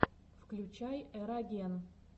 включай эроген